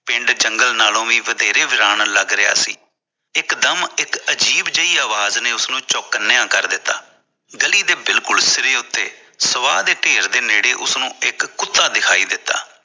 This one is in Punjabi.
ਪਿੰਡ ਜੰਗਲੇ ਨਾਲੋਂ ਵੀ ਵਧੇਰੇ ਵੀਰਾਨ ਲੱਗ ਰਿਹਾ ਸੀ ਇਕ ਦਮ ਇਕ ਅਜ਼ੀਬ ਜਿਹੀ ਆਵਾਜ਼ ਨੇ ਉਸਨੂੰ ਚੋਕਨਆ ਕਰ ਦਿੱਤਾ ਗਲੀ ਦੇ ਬਿਲਕੁਲ ਸਰ ਉੱਤੇ ਸਵਾਹ ਦੇ ਢੇਰ ਨੇੜੇ ਉਸਨੂੰ ਇਕ ਕੁੱਤੇ ਦਿਖਾਈ ਦਿੱਤਾ